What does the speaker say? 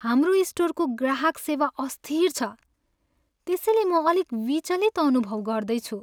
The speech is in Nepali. हाम्रो स्टोरको ग्राहक सेवा अस्थिर छ त्यसैले म अलिक विचलित अनुभव गर्दैछु।